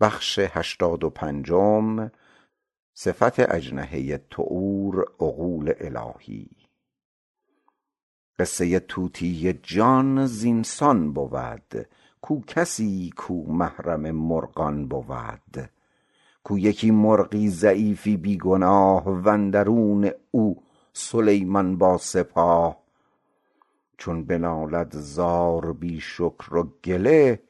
قصه طوطی جان زین سان بود کو کسی کو محرم مرغان بود کو یکی مرغی ضعیفی بی گناه و اندرون او سلیمان با سپاه چون به نالد زار بی شکر و گله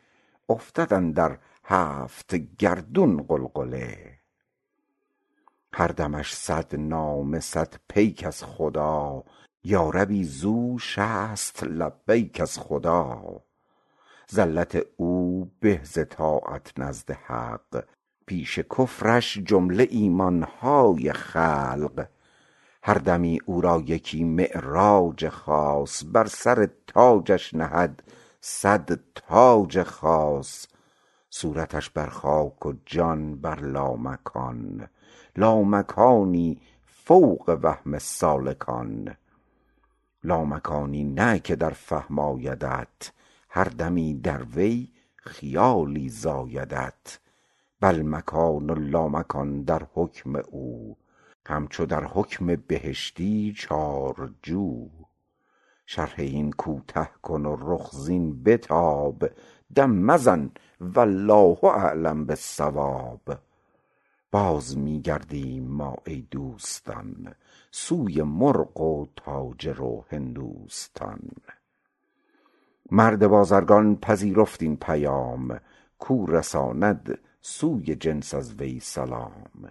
افتد اندر هفت گردون غلغله هر دمش صد نامه صد پیک از خدا یا ربی زو شصت لبیک از خدا زلت او به ز طاعت نزد حق پیش کفرش جمله ایمانها خلق هر دمی او را یکی معراج خاص بر سر تاجش نهد صد تاج خاص صورتش بر خاک و جان بر لامکان لامکانی فوق وهم سالکان لامکانی نه که در فهم آیدت هر دمی در وی خیالی زایدت بل مکان و لامکان در حکم او همچو در حکم بهشتی چار جو شرح این کوته کن و رخ زین بتاب دم مزن والله اعلم بالصواب باز می گردیم ما ای دوستان سوی مرغ و تاجر و هندوستان مرد بازرگان پذیرفت این پیام کو رساند سوی جنس از وی سلام